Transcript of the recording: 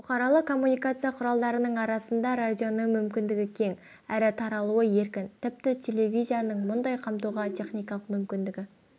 бұқаралық коммуникация құралдарының арасында радионың мүмкіндігі кең әрі таралуы еркін тіпті телевизияның мұндай қамтуға техникалық мүмкіндігі